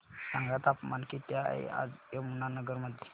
सांगा तापमान किती आहे आज यमुनानगर मध्ये